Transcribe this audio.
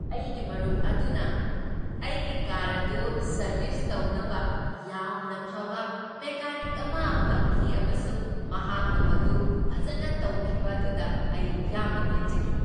ꯑꯩꯒꯤ ꯃꯔꯨꯞ ꯑꯗꯨꯅ ꯑꯩꯒꯤ ꯀꯥꯔ ꯑꯗꯨ ꯁꯔꯕꯤꯁ ꯇꯧꯅꯕ ꯌꯥꯝꯅ ꯐꯕ ꯃꯦꯀꯥꯅꯤꯛ ꯑꯃ ꯐꯪꯈꯤ ꯑꯃꯁꯨꯡ ꯃꯍꯥꯛꯅ ꯃꯗꯨ ꯐꯖꯅ ꯇꯧꯈꯤꯕ ꯑꯗꯨꯗ ꯑꯩ ꯌꯥꯝꯅ ꯄꯦꯟꯖꯈꯤ꯫